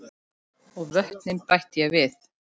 Og vötnin bætti ég við.